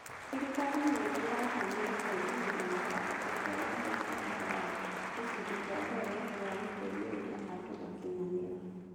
Thirikari nĩ ĩratanya gũteithĩrĩria mũbango ũcio na mbeca thutha wa gĩcunjĩ kĩa mbere gĩa gũteithĩrĩria andũ gũkinyanĩra.